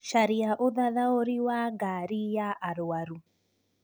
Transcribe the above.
Caria ũthathaũri wa ngari ya arwaru